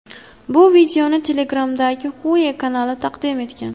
Bu videoni Telegram’dagi Hue kanali taqdim etgan .